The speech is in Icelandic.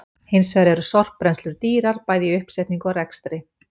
Hins vegar eru sorpbrennslur dýrar bæði í uppsetningu og rekstri.